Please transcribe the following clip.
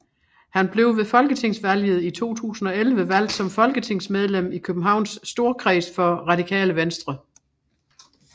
Han blev ved folketingsvalget i 2011 valgt som folketingsmedlem i Københavns Storkreds for Radikale Venstre